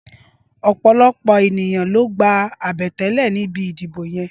Ọpọlọpọ éniyàn ló gbá abẹtẹlẹ nibi idibó yèn